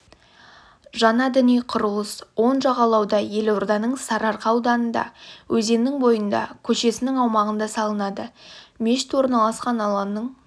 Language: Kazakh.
жаңа діни құрылыс оң жағалауда елорданың сарыарқа ауданында өзеннің бойында көшесінің аумағында салынады мешіт орналасқан алаңның